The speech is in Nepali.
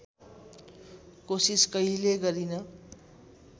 कोसिस कहिल्यै गरिन